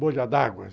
Bolha d'água?